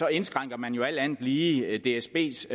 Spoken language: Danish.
indskrænker man jo alt andet lige dsbs